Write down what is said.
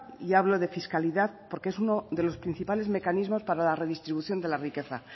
y hablo de fiscalidad porque es uno de los principales mecanismos para la redistribución de la riqueza